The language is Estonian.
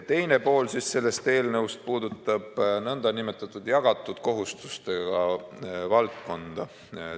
Teine pool sellest eelnõust puudutab nn jagatud kohustustega valdkonda.